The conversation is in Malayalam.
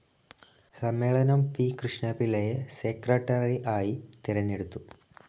സമ്മേളനം പി കൃഷ്ണപിള്ളയെ സെക്രട്ടറി ആയി തെരഞ്ഞെടുത്തു.